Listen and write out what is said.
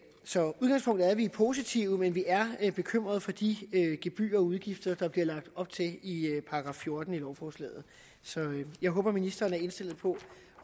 så udgangspunktet er at vi er positive men vi er bekymrede for de gebyrer og udgifter der bliver lagt op til i § fjorten i lovforslaget så jeg håber ministeren er indstillet på